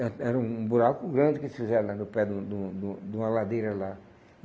Eh era um buraco grande que fizeram lá no pé de um de um de um de uma ladeira lá.